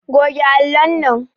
Goge allon nan